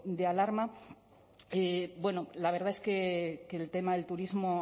de alarma bueno la verdad es que el tema del turismo